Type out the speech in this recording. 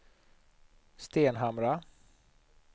Stenhamra